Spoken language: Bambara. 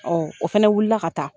o fana wuli la ka taa.